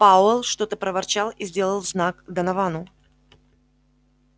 пауэлл что-то проворчал и сделал знак доновану